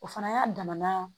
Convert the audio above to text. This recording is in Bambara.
O fana y'a damana